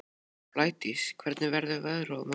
Blædís, hvernig verður veðrið á morgun?